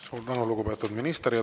Suur tänu, lugupeetud minister!